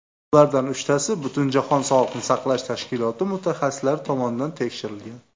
Ulardan uchtasi Butunjahon sog‘liqni saqlash tashkiloti mutaxassislari tomonidan tekshirilgan.